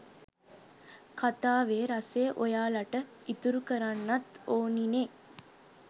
කතාවෙ රසය ඔයාලට ඉතුරු කරන්නත් ඕනිනෙ.